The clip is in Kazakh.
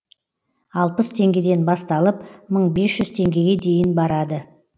алпыс теңгеден басталып мың бес жүз теңгеге дейін барады